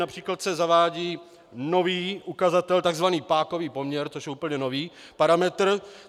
Například se zavádí nový ukazatel tzv. pákový poměr, což je úplně nový parametr.